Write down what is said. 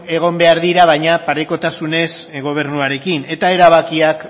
egon behar dira baina parekotasunez gobernuarekin eta erabakiak